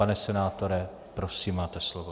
Pane senátore, prosím, máte slovo.